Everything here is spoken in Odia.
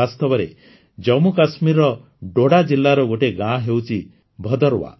ବାସ୍ତବରେ ଜାମ୍ମୁକାଶ୍ମୀରର ଡୋଡା ଜିଲ୍ଲାର ଗୋଟିଏ ଗାଁ ହେଉଛି ଭଦର୍ୱା